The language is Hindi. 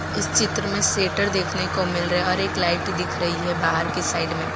इस चित्र में सेटर देखने को मिल रहा है और एक लाइट दिख रही है बाहर की साइड में।